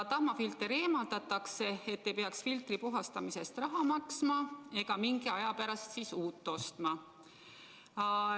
Tahmafilter eemaldatakse, et ei peaks filtri puhastamise eest raha maksma ega mingi aja pärast uut ostma.